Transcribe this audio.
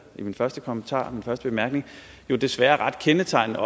min første kommentar min første bemærkning jo desværre er ret kendetegnende